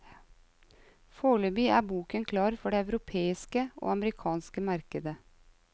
Foreløpig er boken klar for det europeiske og amerikanske markedet.